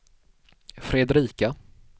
Fredrika